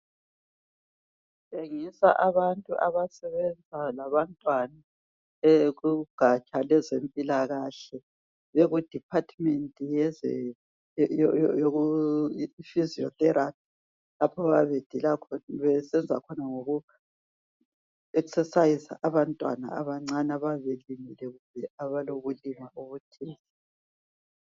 Kutshengisa abantu abasebenza labantwana bekugaja lwezempilakahle beku 'department" ye"physiotherapy" lapha abayabe besenza khona ngoku"exercise" abantwana abancane abayabe belimele kumbe abalobulima obuthile.